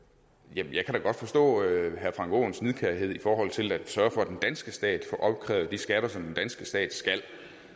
jeg kan da godt forstå herre frank aaens nidkærhed i forhold til at sørge for at den danske stat får opkrævet de skatter som den danske stat skal